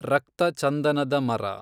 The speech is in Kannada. ರಕ್ತ ಚಂದನದ ಮರ